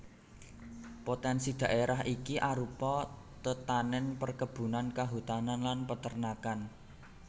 Potènsi dhaérah iki arupa tetanèn perkebunan kahutanan lan peternakan